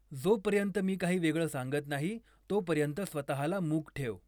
जोपर्यंत मी काही वेगळं सांगत नाही तोपर्यंत स्वतःला मूक ठेव